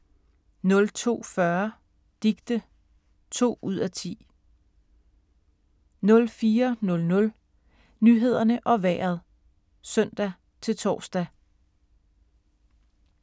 02:40: Dicte (2:10) 04:00: Nyhederne og Vejret (søn-tor)